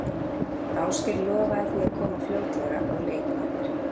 Ásgeir lofaði því að koma fljótlega á leik með mér.